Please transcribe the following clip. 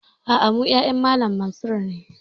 A'a, mu ƴaƴan Malam Mansur ne